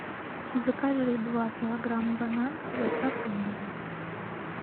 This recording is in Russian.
закажи два килограмма бананов с доставкой на дом